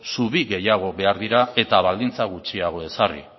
zubi gehiago behar dira eta baldintza gutxiago ezarri